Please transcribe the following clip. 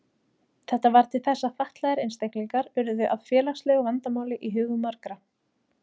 Þetta varð til þess að fatlaðir einstaklingar urðu að félagslegu vandamáli í hugum margra.